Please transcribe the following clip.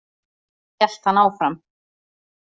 Hélt hann áfram.